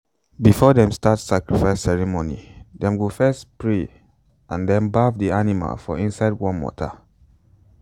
before them start sacrifice ceremony them go first pray and then baff the animal for inside warm water.